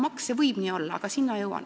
See võib nii olla, selle juurde ma veel jõuan.